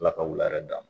Ala ka wula yɛrɛ d'a ma